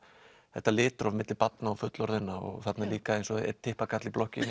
þetta litróf milli barna og fullorðinna og þarna er líka eins og það einn typpakarl í blokkinni